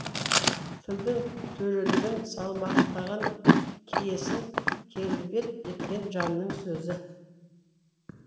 тілдің төрелігін салмақтаған киесін келбет еткен жанның сөзі